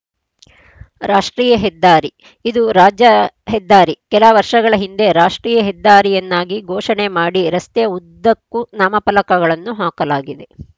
ರಾಷ್ಟ್ರೀಯ ಹೆದ್ದಾರಿ ಇದು ರಾಜ್ಯ ಹೆದ್ದಾರಿ ಕೆಲ ವರ್ಷಗಳ ಹಿಂದೆ ರಾಷ್ಟ್ರೀಯ ಹೆದ್ದಾರಿಯನ್ನಾಗಿ ಘೋಷಣೆ ಮಾಡಿ ರಸ್ತೆಯ ಉದ್ದಕ್ಕೂ ನಾಮಫಲಕಗಳನ್ನು ಹಾಕಲಾಗಿದೆ